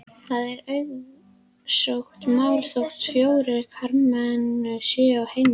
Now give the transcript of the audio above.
Það er auðsótt mál þótt fjórir karlmenn séu á heimilinu.